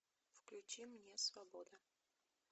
включи мне свобода